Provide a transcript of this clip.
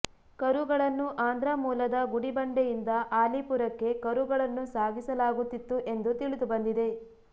ಕರುಗಳನ್ನು ಆಂಧ್ರ ಮೂಲದ ಗುಡಿಬಂಡೆಯಿಂದ ಆಲಿಪುರಕ್ಕೆ ಕರುಗಳನ್ನು ಸಾಗಿಸಲಾಗುತ್ತಿತ್ತು ಎಂದು ತಿಳಿದುಬಂದಿದೆ